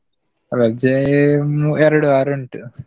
ರಜೇ ಅಹ್ ಎರಡು ವಾರ ಉಂಟು.